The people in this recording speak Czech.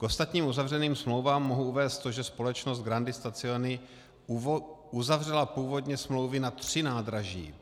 K ostatním uzavřeným smlouvám mohu uvést to, že společnost Grandi Stazioni uzavřela původně smlouvy na tři nádraží.